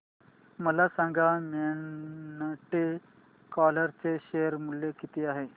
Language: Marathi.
मला सांगा मॉन्टे कार्लो चे शेअर मूल्य किती आहे